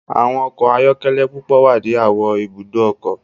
Awọn ọkọ ayọkẹlẹ pupọ wa ni awọn Ibùdó ọkọ